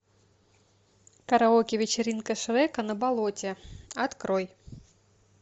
караоке вечеринка шрека на болоте открой